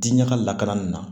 Diɲɛ ka lakana nin na